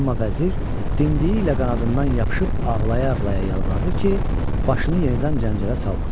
Amma vəzir dimdiyi ilə qanadından yapışıb ağlaya-ağlaya yalvardı ki, başını yenidən cəncələ salmasın.